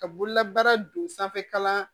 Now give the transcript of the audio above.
Ka bololabaara don sanfɛkalan